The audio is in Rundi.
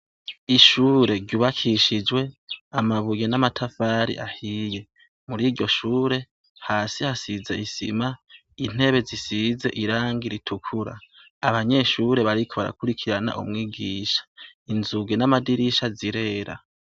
Ishure ryubakishijwe amabuye n'amatafari ahiye. Muri iryo shure, hasi hasize isima, intebe zisize irangi ritukura. Abanyeshure bariko barakurikirana umwigisha, inzugi n'amadirisha zirera.